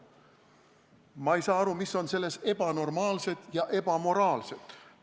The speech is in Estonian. Ma ei saa aru, mis on selles ebanormaalset ja ebamoraalset!